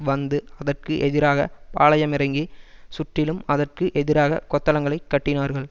வந்து அதற்கு எதிராக பாளயமிறங்கி சுற்றிலும் அதற்கு எதிராக கொத்தளங்களைக் கட்டினார்கள்